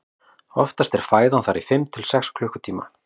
oftast er fæðan þar í fimm til sex klukkutíma